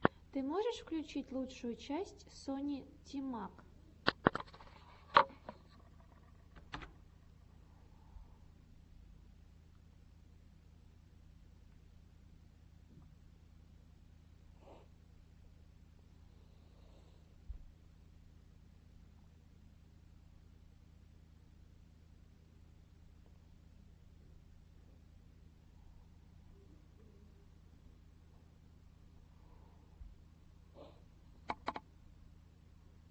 ты можешь включить лучшую часть сони тимак